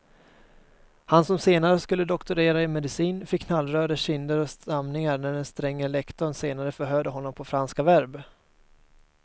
Han som senare skulle doktorera i medicin fick knallröda kinder och stamningar när den stränge lektorn senare förhörde honom på franska verb.